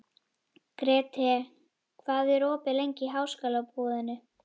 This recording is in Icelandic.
Grethe, hvað er opið lengi í Háskólabúðinni?